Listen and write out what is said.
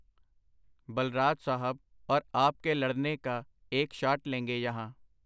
ਬਲਰਾਜ ਸਾਹਬ ਅੋਰ ਆਪ ਕੇ ਲੜਨੇ ਕਾ ਏਕ ਸ਼ਾਟ ਲੇਂਗੇ ਯਹਾਂ.